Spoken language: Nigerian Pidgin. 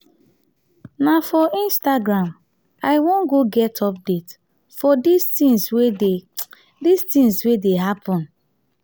na for instagram i wan go get update for dis tins wey dey dis tins wey dey happen.